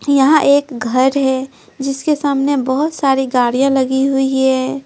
यहां एक घर है जिसके सामने बहुत सारी गाड़ियां लगी हुई है।